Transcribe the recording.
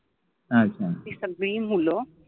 अच्छा, ति सगळी मुल